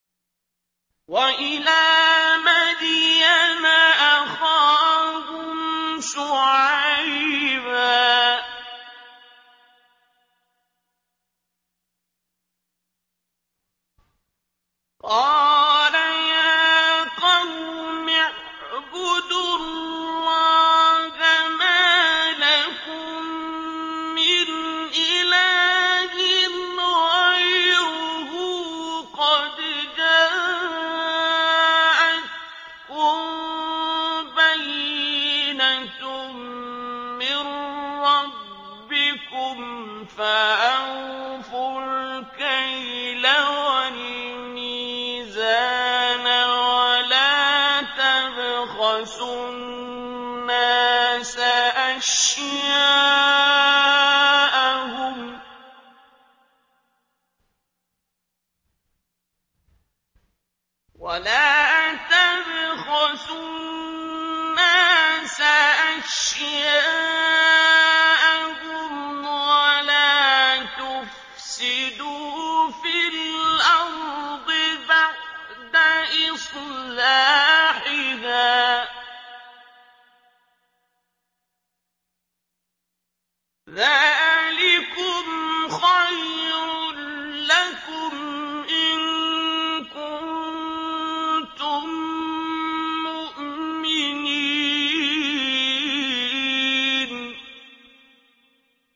وَإِلَىٰ مَدْيَنَ أَخَاهُمْ شُعَيْبًا ۗ قَالَ يَا قَوْمِ اعْبُدُوا اللَّهَ مَا لَكُم مِّنْ إِلَٰهٍ غَيْرُهُ ۖ قَدْ جَاءَتْكُم بَيِّنَةٌ مِّن رَّبِّكُمْ ۖ فَأَوْفُوا الْكَيْلَ وَالْمِيزَانَ وَلَا تَبْخَسُوا النَّاسَ أَشْيَاءَهُمْ وَلَا تُفْسِدُوا فِي الْأَرْضِ بَعْدَ إِصْلَاحِهَا ۚ ذَٰلِكُمْ خَيْرٌ لَّكُمْ إِن كُنتُم مُّؤْمِنِينَ